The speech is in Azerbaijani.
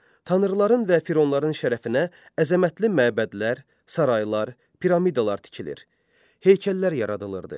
Tanrıların və Fironların şərəfinə əzəmətli məbədlər, saraylar, piramidalar tikilir, heykəllər yaradılırdı.